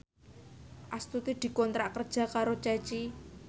Astuti dikontrak kerja karo Ceci